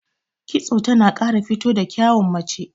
Kitso tana ƙara fito da kyawun mace.